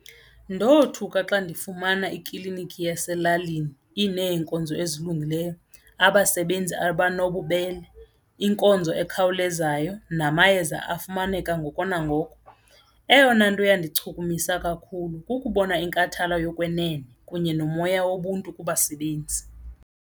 Ndothuka xa ndifumana iklinikhi yaselalini ineenkonzo ezilungileyo, abasebenzi abanobubele, iinkonzo ekhawulezayo namayeza afumaneka ngoko nangoko. Eyona nto yandichukumisa kakhulu kukubona inkathalo yokwenene kunye nomoya wobuntu kubasebenzi.